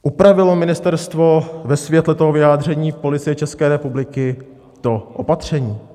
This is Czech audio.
Upravilo ministerstvo ve světle toho vyjádření Policie České republiky to opatření?